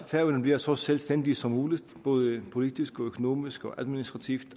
færøerne bliver så selvstændige som muligt både politisk økonomisk og administrativt